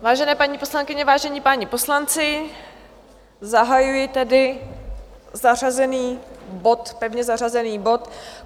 Vážené paní poslankyně, vážení páni poslanci, zahajuji tedy zařazený bod, pevně zařazený bod